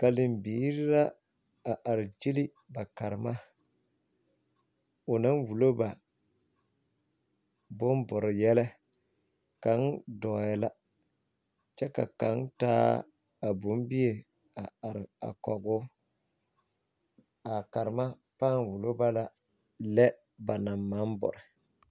karembiiri la a are gyili ba karema o naŋ wulo ba bombore yɛlɛ kaŋ dɔɔɛ la kyɛ ka kaŋa taa a bombie a are kɔge o a karema pãã wulo ba la lɛ ba naŋ maŋ bore.